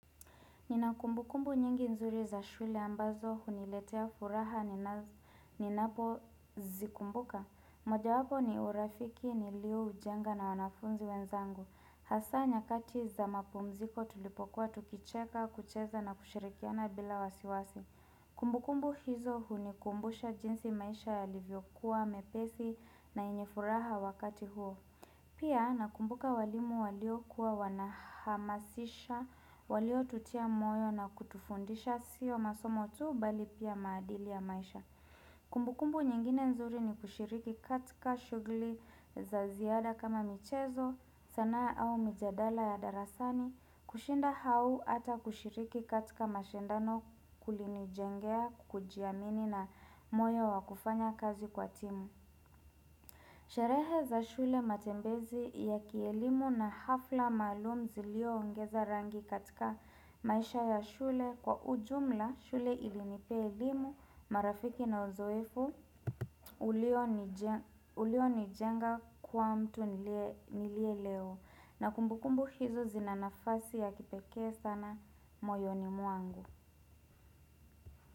Nina kumbukumbu nyingi nzuri za shule ambazo huniletea furaha ninapozikumbuka. Moja wapo ni urafiki nilioujenga na wanafunzi wenzangu. Hasa nyakati za mapumziko tulipokuwa tukicheka kucheza na kushirikiana bila wasiwasi. Kumbukumbu hizo hunikumbusha jinsi maisha yalivyokuwa mepesi na yenye furaha wakati huo. Pia nakumbuka walimu waliokuwa wanahamasisha, waliotutia moyo na kutufundisha siyo masomo tuu bali pia maadili ya maisha. Kumbukumbu nyingine nzuri ni kushiriki katika shughuli za ziada kama michezo, sanaa au mijadala ya darasani, kushinda au hata kushiriki katika mashindano kulinijengea kujiamini na moyo wa kufanya kazi kwa timu. Sherehe za shule matembezi ya kielimu na hafla maalum ziliongeza rangi katika maisha ya shule kwa ujumla shule ilinipea elimu marafiki na uzoefu ulionijenga kuwa mtu niliye leo na kumbukumbu hizo zina nafasi ya kipekee sana moyoni mwangu.